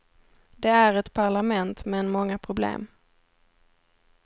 Det är ett parlament men många problem.